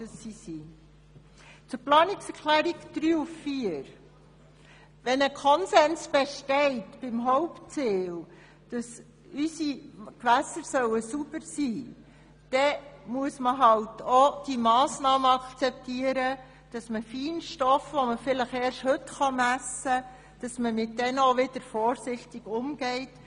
Zu den Planungserklärungen 3 und 4: Wenn beim Hauptziel der Konsens besteht, dass unsere Gewässer sauber sein sollen, dann muss man auch die Massnahme akzeptieren und mit Feinstoffen, die man vielleicht erst heute messen kann, vorsichtig umgehen.